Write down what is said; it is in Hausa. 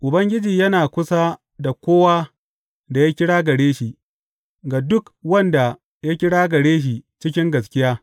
Ubangiji yana kusa da kowa da ya kira gare shi, ga duk wanda ya kira gare shi cikin gaskiya.